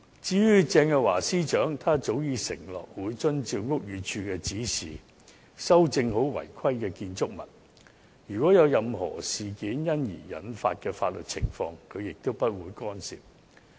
至於鄭若驊司長，她早已承諾會遵照屋宇署的指示修正好違規的僭建物；任何因此事而引致的法律情況，她也不會干涉。